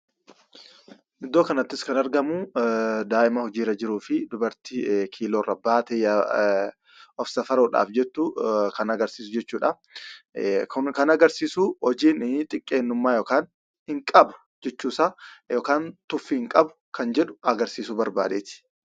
Iddoo kanattis kan argamuu daa'ima hojiirra jiruufi dubartii kiiloorra baatee of safaruudhaaf jettu kan agarsiisu jechuudha. kun kan agarsiisu hojiin xiqqeennummaa hin qabu jechuusaa yookiin tuffii hin qabu kan jedhu agarsiisuu barbaadeeti.